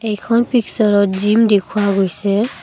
এইখন পিকচাৰত জিম দেখুওৱা গৈছে।